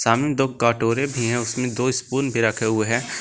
सामने दो कटोरे भी हैं उसमें दो स्पून भी रखे हुए हैं।